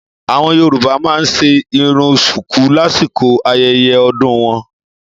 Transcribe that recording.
Àwọn yoruba ma nṣe irun ṣùkú lásìkò ayẹyẹ ọdún wọn.